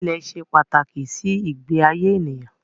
Ilẹ̀ ṣe pàtàkì sí ìgbé ayé ènìyàn